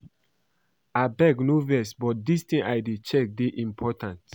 Abeg no vex but dis thing I dey check dey important